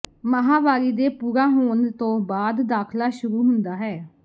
ਮਾਹਵਾਰੀ ਦੇ ਪੂਰਾ ਹੋਣ ਤੋਂ ਬਾਅਦ ਦਾਖਲਾ ਸ਼ੁਰੂ ਹੁੰਦਾ ਹੈ